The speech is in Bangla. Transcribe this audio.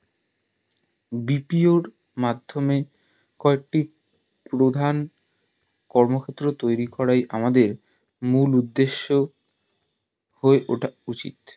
BPO র মাধ্যমে কয়েকটি প্রধান কর্মক্ষেত্র তৈরী করাই আমাদের মূল উদ্দেশ হয়ে ওঠা উচিত